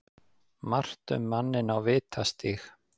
Margt um manninn á Vitastíg